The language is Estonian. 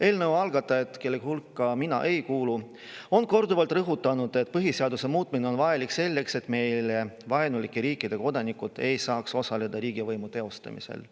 Eelnõu algatajad, kelle hulka mina ei kuulu, on korduvalt rõhutanud, et põhiseaduse muutmine on vajalik selleks, et meile vaenulike riikide kodanikud ei saaks osaleda riigivõimu teostamisel.